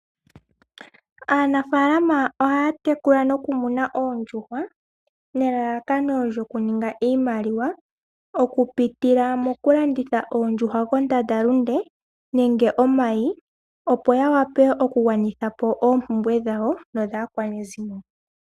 Aanafaalama ohaya tekula nokumuna oondjuhwa nelalakano lyokuninga iimaliwa okupitila mokulanditha oondjuhwa kondandalunde nenge omayi opo ya vule okugwanitha po oompumbwe dhawo nodhaakwanezimo.